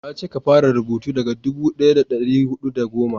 na ce ka fara rubutu daga dubu daya da dari hudu da goma